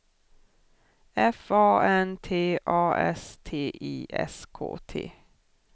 F A N T A S T I S K T